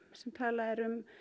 sem talað er um